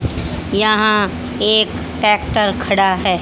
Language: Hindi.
यहां एक ट्रैक्टर खड़ा है।